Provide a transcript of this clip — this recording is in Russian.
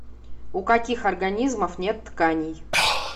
у каких организмов нет тканей